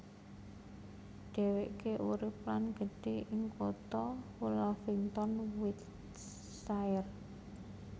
Dhéwéké urip lan gedhe ing kutha Hullavington Wiltshire